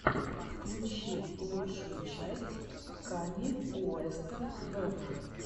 включи лучшую часть канье уэста вево